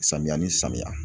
Samiya ni samiya